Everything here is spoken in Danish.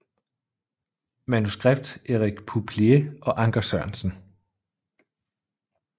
Manuskript Erik Pouplier og Anker Sørensen